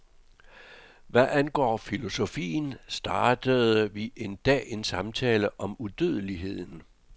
Hvad angår filosofien, startede vi en dag en samtale om udødeligheden.